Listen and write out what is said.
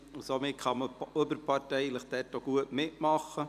Somit kann man gut auch überparteilich mitmachen.